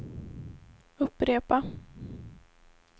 upprepa